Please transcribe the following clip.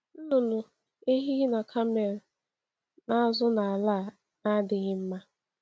Nnụnụ ehi na kamel na-azụ n’ala a na-adịghị mma.